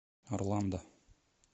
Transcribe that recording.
орландо